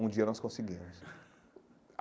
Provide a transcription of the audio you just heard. Um dia nós conseguimos.